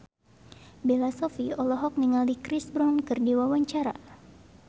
Bella Shofie olohok ningali Chris Brown keur diwawancara